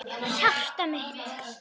Hjartað mitt,